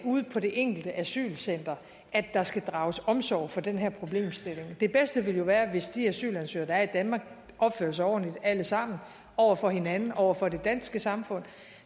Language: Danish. ude på det enkelte asylcenter der skal drages omsorg for den her problemstilling det bedste ville jo være hvis de asylansøgere der er i danmark opførte sig ordentligt alle sammen over for hinanden over for det danske samfund